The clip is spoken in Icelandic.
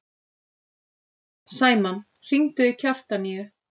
Sæmann, hringdu í Kjartaníu.